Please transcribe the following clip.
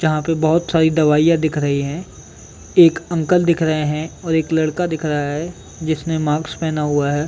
जहाँ पे बहोत सारे दवाईया दिख रही है एक अंकल दिख रहे है और एक लड़का दिख रहा है जिसने मास्क पहना हुआ है।